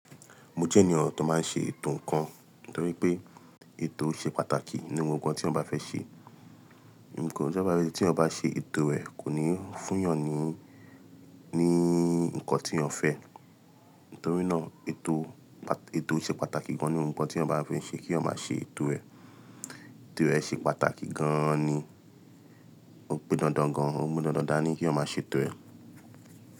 Mo jẹ́ ènìyàn tó máa ń ṣe ètò ńkan, torí pé ètò ṣe pàtàkì nínú ohun kan tí ọba fẹ́ ṣe. Ǹkan tí eyan ba ṣe ètò rẹ kò ní fún yàn ní, ní ǹkan tí yàn fẹ́. Nítorínà ètò, ètò ṣe pàtàkì gan ní ohun kan tí ọba fẹ́ ṣe kí eyan ma ṣe ètò rẹ. Ètò rẹ ṣe pàtàkì gan ni, ó pọn dandan gan, ó mú dandan dáa ni kí eyan ma ṣe ètò rẹ.